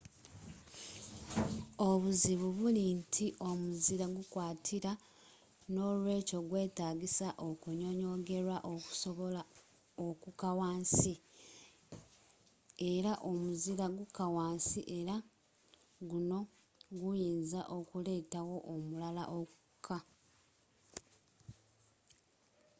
obuzibu buli nti omuzira gukwatira n'olwekyo gwetaagisa okunyonyogerwa okusobola okukka wansi era omuzira gukka wansi era guno guyinza okuleetawo omulala okukka